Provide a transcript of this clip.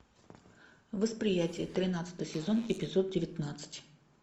восприятие тринадцатый сезон эпизод девятнадцать